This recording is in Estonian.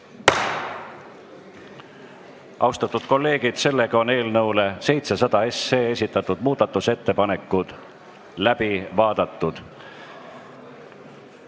Austatud kolleegid, eelnõu 700 kohta esitatud muudatusettepanekud on läbi vaadatud.